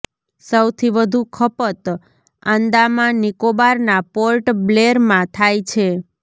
સૌથી વધુ ખપત આંદામાન નિકોબારના પોર્ટ બ્લેરમાં થાય છે